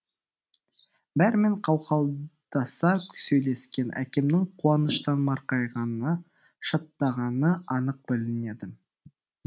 бәрімен қауқылдаса сөйлескен әкемнің қуаныштан марқайғаны шаттағаны анық білінеді